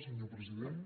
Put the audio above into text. senyor president